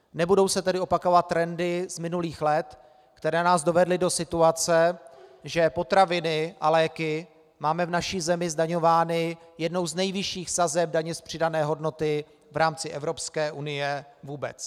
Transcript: Nebudou se tedy opakovat trendy z minulých let, které nás dovedly do situace, že potraviny a léky máme v naší zemi zdaňovány jednou z nejvyšších sazeb daně z přidané hodnoty v rámci Evropské unie vůbec.